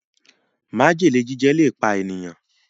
májèlé jíjẹ le pá ènìyàn